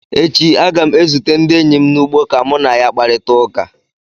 echi, Aga m ezute ndị enyi m n’ugbo ka mụ na ya kparịta ụka